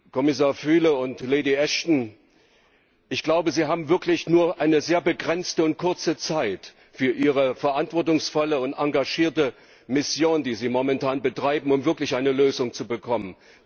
Kommissar Füle und Lady Ashton, ich glaube, Sie haben wirklich nur eine sehr begrenzte und kurze Zeit für Ihre verantwortungsvolle und engagierte Mission, die Sie momentan betreiben, um wirklich eine Lösung zu bekommen.